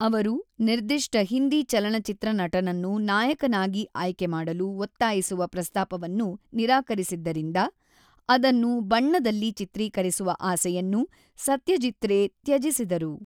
ಅವರು ನಿರ್ದಿಷ್ಟ ಹಿಂದಿ ಚಲನಚಿತ್ರ ನಟನನ್ನು ನಾಯಕನಾಗಿ ಆಯ್ಕೆ ಮಾಡಲು ಒತ್ತಾಯಿಸುವ ಪ್ರಸ್ತಾಪವನ್ನು ನಿರಾಕರಿಸಿದ್ದರಿಂದ, ಅದನ್ನು ಬಣ್ಣದಲ್ಲಿ ಚಿತ್ರೀಕರಿಸುವ ಆಸೆಯನ್ನು ಸತ್ಯಜೀತ್ ರೇ ತ್ಯಜಿಸಿದರು.